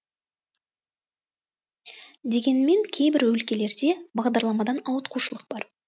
дегенмен кейбір өлкелерде бағдарламадан ауытқушылық бар